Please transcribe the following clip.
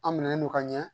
An minɛlen no ka ɲɛ